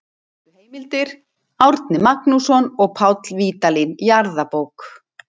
Helstu heimildir: Árni Magnússon og Páll Vídalín, Jarðabók.